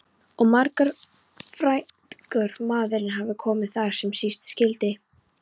Og margur frægur maðurinn hefur komið þar sem síst skyldi.